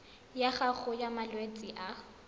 ya gago ya malwetse a